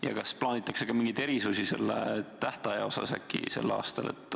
Ja kas äkki plaanitakse ka mingeid erisusi selle tähtaja osas sel aastal?